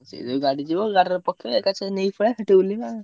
ସେ ଯୋଉ ଗାଡି ଯିବ ଗାଡିରେ ପକେଇଆ ଏକସାଙ୍ଗେ ନେଇକି ପଳେଇଆ ସେଠି ଓଲ୍ହେଇବା ଆଉ।